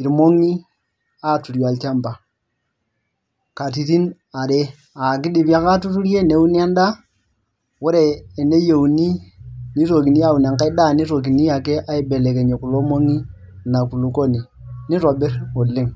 irmongi aaturie olchampa katitin are, aa kidimie ake aatuturie, neuni endaa, ore eneuni nitokini aun enkae, daa nitokini ake aibelekenyie kulo mong'i Ina kulupuoni neitobir oleng'.